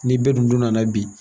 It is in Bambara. Ni bɛ dun don nana bi.